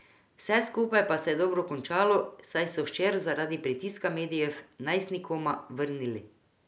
Vse skupaj pa se je dobro končalo, saj so hčer zaradi pritiska medijev najstnikoma vrnili.